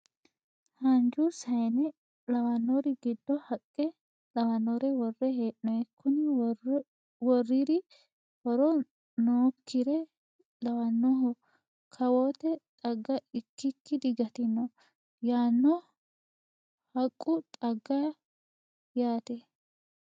Haanju sayiine lawannori giddo haqqe lawannore worre hee'noyi. Kuni worriri horo nookkire lawannohe kawoote xagga ikkikki digantino. Yaano haqqu xagga yaate.